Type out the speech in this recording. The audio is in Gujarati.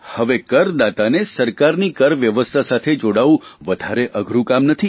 હવે કરદાતાએ સરકારની કરવ્યવસ્થા સાથે જોડાવાનું વધારે અઘરૂં કામ નથી